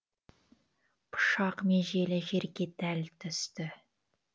пышақ межелі жерге дәл түсті